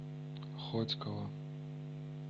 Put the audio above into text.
хотьково